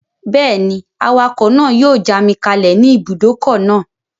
Bẹ́ẹ̀ni, awakọ̀ náà yóò já mi kalẹ̀ ní ibùdókọ̀ náà